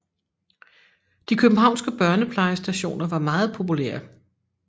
De københavnske børneplejestationer var meget populære